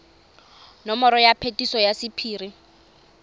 nomoro ya phetiso ya sephiri